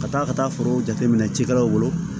Ka taa ka taa foro jateminɛ cikɛlaw bolo